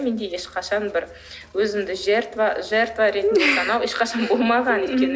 менде ешқашан бір өзімді жертва ретінде ешқашан болмаған екен